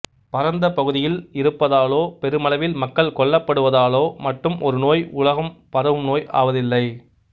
பரந்த பகுதியில் இருப்பதாலோ பெருமளவில் மக்கள் கொல்லப்படுவதாலோ மட்டும் ஒரு நோய் உலகம்பரவுநோய் ஆவதில்லை